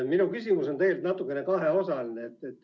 Minu küsimus on kaheosaline.